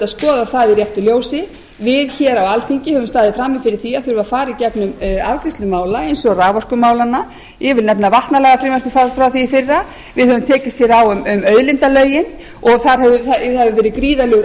skoða það í réttu ljósi við á alþingi höfum staðið frammi fyrir því að fara í gegnum afgreiðslu mála eins og raforkumálanna ég vil nefna vatnalagafrumvarpið frá því í fyrra við höfum tekist á um auðlindalögin og það hefur verið gríðarlegur